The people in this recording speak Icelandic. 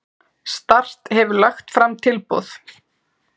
Start hefur lagt fram tilboð.